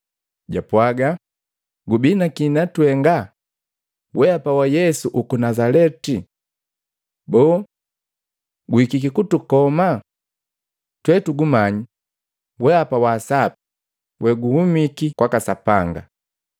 Japwaaga, “Gubi naki na twenga, Weapa wa Yesu uku Nazaleti? Boo! Guhikiki kutukoma? Twe tugumanyi, weapa wa Waasaapi weguhumiki kwaka Sapanga!”